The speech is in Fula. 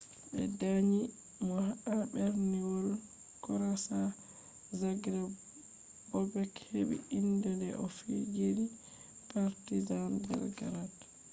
ɓe danyi mo ha berniwol krotia zagreb bobek heɓɓi inde de o fijini partisan belgrade